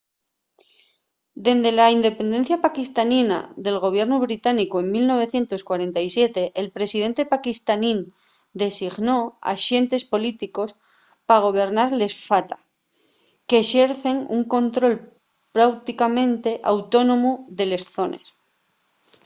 dende la independencia paquistanina del gobiernu británicu en 1947 el presidente paquistanín designó axentes políticos” pa gobernar les fata qu'exercen un control práuticamente autónomu de les zones